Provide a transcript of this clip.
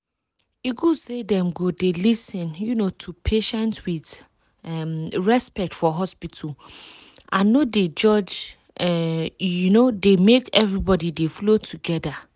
e good say dem go dey lis ten um to patient with um respect for hospital and no dey judge e um dey make everybody dey flow together.